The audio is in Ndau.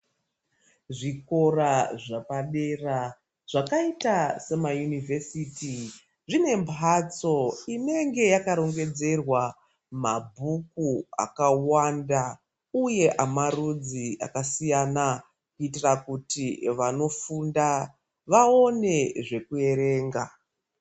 Zvikora zvapa dera zvakaita sema yunivhesiti zvine mbatso inenge yaka rongedzerwa mabhuku akawanda uye ama rudzi aka siyana kuitira kuti vano funda vaone zveku erenga.